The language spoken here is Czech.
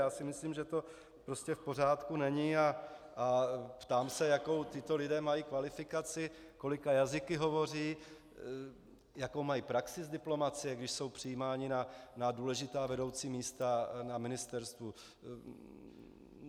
Já si myslím, že to prostě v pořádku není, a ptám se, jakou tito lidé mají kvalifikaci, kolika jazyky hovoří, jakou mají praxi z diplomacie, když jsou přijímáni na důležitá vedoucí místa na ministerstvu.